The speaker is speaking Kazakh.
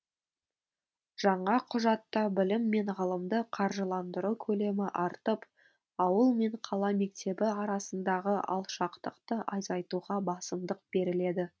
жаңа құжатта білім мен ғылымды қаржыландыру көлемі артып ауыл мен қала мектебі арасындағы алшақтықты азайтуға басымдық беріледі